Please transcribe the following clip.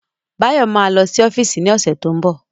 Báyọ̀ ma lọ sí ọ́fíìsì ní ọ̀sẹ̀ tó ń bọ̀